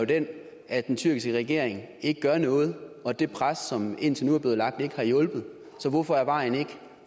den at den tyrkiske regering ikke gør noget og at det pres som indtil nu er blevet lagt ikke har hjulpet så hvorfor er vejen